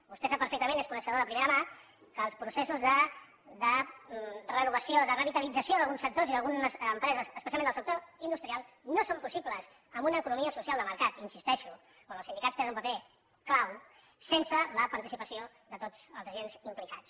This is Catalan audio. vostè sap perfectament n’és coneixedor de primera mà que els processos de renovació de revitalització d’alguns sectors i d’algunes empreses especialment del sector industrial no són possibles en una economia social de mercat hi insisteixo on els sindicats tenen un paper clau sense la participació de tots els agents implicats